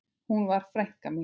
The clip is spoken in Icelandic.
Hún var frænka mín.